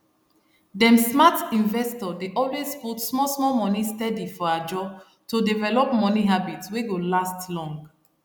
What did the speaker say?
dem smart investor dey always put small small money steady for ajo to develop money habit wey go last long